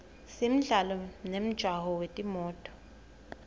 simdlalo nemjaho wetimoto